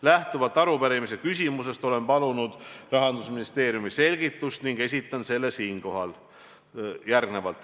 Lähtuvalt arupärimise küsimusest olen aga palunud Rahandusministeeriumi selgitust ning esitan selle ka siinkohal.